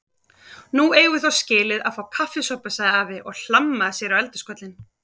Nú eigum við þó skilið að fá kaffisopa sagði afi og hlammaði sér á eldhúskollinn.